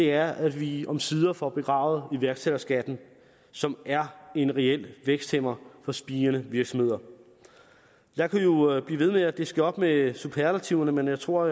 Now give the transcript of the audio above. er at vi omsider får begravet iværksætterskatten som er en reel væksthæmmer for spirende virksomheder jeg kunne jo blive ved med at diske op med superlativerne men jeg tror at